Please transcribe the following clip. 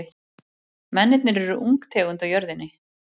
Mennirnir eru ung tegund á jörðinni.